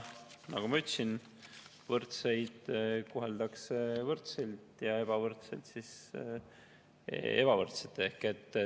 Nagu ma ütlesin, võrdseid koheldakse võrdselt ja ebavõrdseid ebavõrdselt.